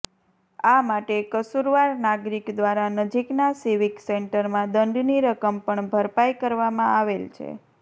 આ માટે કસુરવાર નાગરિક દ્વારા નજીકના સિવીક સેન્ટરમાં દંડની રકમ પણ ભરપાઈ કરવામાં આવેલ છે